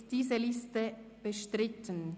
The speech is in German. Ist diese Liste bestritten?